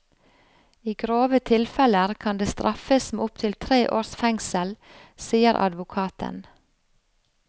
I grove tilfeller kan det straffes med opptil tre års fengsel, sier advokaten.